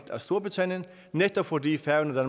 storbritannien netop fordi færøerne og